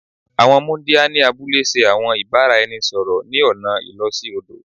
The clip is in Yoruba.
Àwọn muńdíá ni abúlé ṣe àwọn ìbáraẹnisọ̀rọ̀ ni ọna ìló sí odò